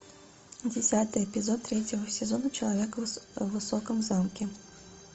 десятый эпизод третьего сезона человек в высоком замке